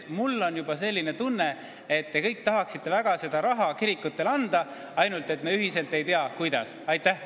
Mul on juba tunne, et te kõik tahaksite väga seda raha kirikutele anda, ainult me pole jõudnud ühisele kokkuleppele, kuidas.